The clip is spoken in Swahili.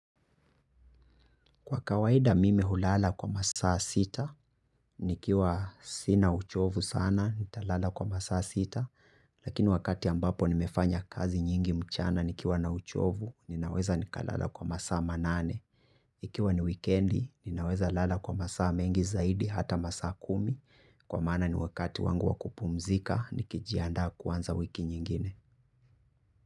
Kwa kawaida mimi hulala kwa masaa sita, nikiwa sina uchovu sana, nitalala kwa masaa sita, lakini wakati ambapo nimefanya kazi nyingi mchana nikiwa na uchovu, ninaweza nikalala kwa masaa manane. Ikiwa ni wikendi, ninaweza lala kwa masaa mengi zaidi hata masaa kumi, kwa maana ni wakati wangu wa kupumzika, nikijiandaa kuanza wiki nyingine.